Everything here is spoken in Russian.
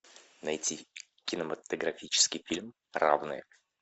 найти кинематографический фильм равные